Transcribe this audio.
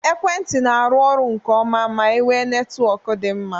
Ekwentị n'aru ọrụ nke ọma ma enwe netwọk dị mma